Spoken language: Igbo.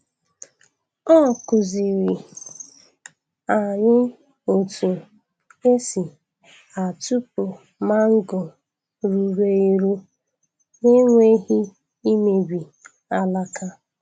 O kụziri anyị otu esi atụpụ mango ruru eru n’enweghị imebi alaka.